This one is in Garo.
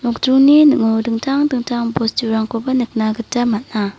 nokdringni ning·o dingtang dingtang bosturangkoba nikna gita man·a.